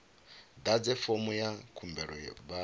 ḓadze fomo ya khumbelo vha